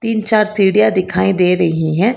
तीन चार सीढ़ियां दिखाई दे रही हैं।